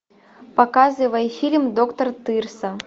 показывай фильм доктор тырса